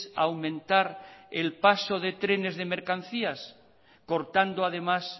a aumentar el paso de trenes de mercancías cortando además